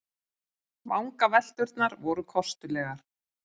Vangavelturnar voru kostulegar.